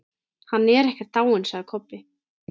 Hann er ekkert dáinn, sagði Kobbi.